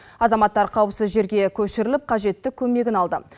азаматтар қауіпсіз жерге көшіріліп қажетті көмегін алды